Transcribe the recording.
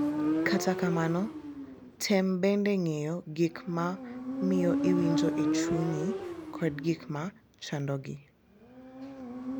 Kata kamano, tem bende ng’eyo gik ma miyo iwinjo e chunyi kod gik ma chandogi.